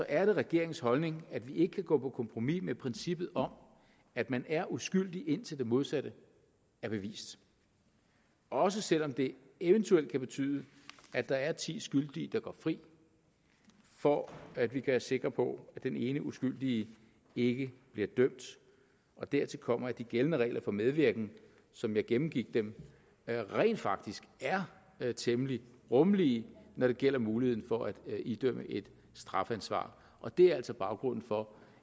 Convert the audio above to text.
er det regeringens holdning at vi ikke kan gå på kompromis med princippet om at man er uskyldig indtil det modsatte er bevist også selv om det eventuelt kan betyde at der er ti skyldige der går fri for at vi kan være sikre på at den ene uskyldige ikke bliver dømt dertil kommer at de gældende regler for medvirken som jeg gennemgik dem rent faktisk er temmelig rummelige når det gælder muligheden for at idømme et strafansvar og det er altså baggrunden for